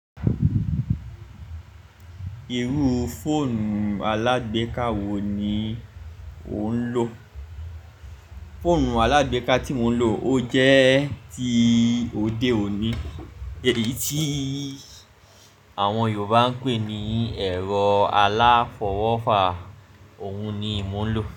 Irú fóònù alágbéka wo ni o ń lò? Fóònù alágbéka tí mò ń lò, ó jẹ́ ti òde òní, èyí tí àwọn Yorùbá ń pè ní ẹ̀rọ aláfọwọ́fà, òun ni mò ń lò.